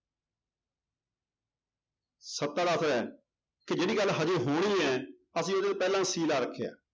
ਕਿ ਜਿਹੜੀ ਗੱਲ ਹਜੇ ਹੋਣੀ ਹੈ ਅਸੀਂ ਪਹਿਲਾਂ ਸੀ ਲਾ ਰੱਖਿਆ,